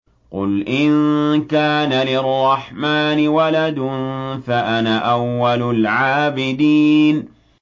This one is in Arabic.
قُلْ إِن كَانَ لِلرَّحْمَٰنِ وَلَدٌ فَأَنَا أَوَّلُ الْعَابِدِينَ